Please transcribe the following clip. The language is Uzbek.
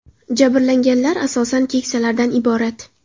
Jabrlanganlar asosan keksalardan iborat.